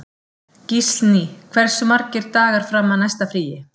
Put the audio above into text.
Gíslný, hversu margir dagar fram að næsta fríi?